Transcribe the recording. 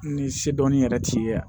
Ni se dɔnni yɛrɛ t'i ye yan